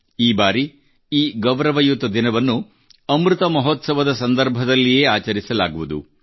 ಈ ಬಾರಿ ಈ ಗೌರವಯುತ ದಿನವನ್ನು ಅಮೃತಮಹೋತ್ಸವದ ಸಂದರ್ಭದಲ್ಲಿಯೇ ಆಚರಿಸಲಾಗುವುದು